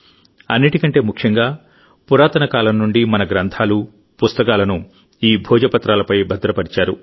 అన్నింటికంటే ముఖ్యంగా పురాతన కాలం నుండిమన గ్రంథాలు పుస్తకాలను ఈ భోజపత్రాలపై భద్రపర్చారు